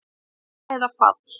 Fimm hæða fall